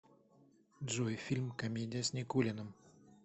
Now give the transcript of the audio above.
джой фильм комедия с никулиным